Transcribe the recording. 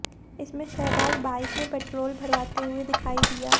इसमें शहबाज बाइक में पेट्रोल भरवाते हुए दिखाई दिया